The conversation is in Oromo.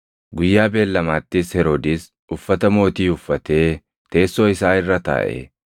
Guyyaa beellamaattis Heroodis uffata mootii uffatee teessoo isaa irra taaʼe; uummatattis dubbate.